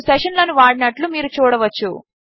నేను సెషన్ లను వాడినట్లు మీరు చూడవచ్చు